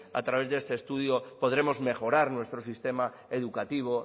a través de este estudio podremos mejorar nuestro sistema educativo